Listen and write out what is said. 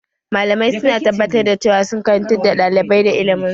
Malamai su na tabbatar da cewa sun karantar da ɗalibai da ilimin su